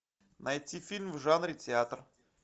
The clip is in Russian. найти фильм в жанре театр